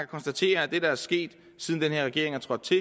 konstatere at det der er sket siden den her regering er trådt til